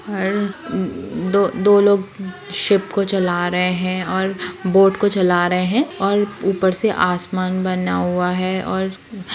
हर दो दो लोग शीप को चल रहे है और बोट को चल रहे है और ऊपर से आसमान बना हुआ है और--